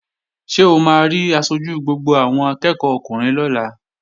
Ṣé o máa rí aṣojú gbogbo àwọn akẹ́ẹ̀kọ́ ọkùnrin lọ́la?